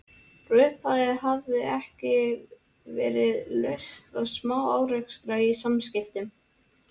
Frá upphafi hafði eigi verið laust við smá-árekstra í samskiptum